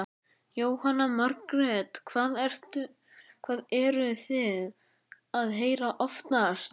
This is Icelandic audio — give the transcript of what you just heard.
Jóhanna Margrét: Hvað eruð þið að heyra oftast?